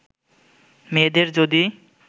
মেয়েদের যদি